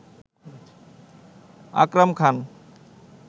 Akram Khan